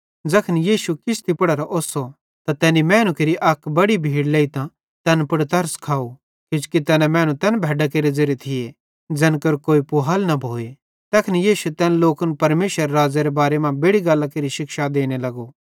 ज़ैखन यीशु किश्ती पुड़ेरां ओस्सो त तैनी मैनू केरि अक बड़ी भीड़ लेइतां तैन पुड़ तरस खाव किजोकि तैना मैनू तैन भैड्डां केरे ज़ेरे थिये ज़ैन केरो कोई पुहाल न भोए तैखन यीशु तैन लोकन परमेशरेरे राज़्ज़ेरे बारे मां बेड़ि गल्लां केरि शिक्षा देने लगो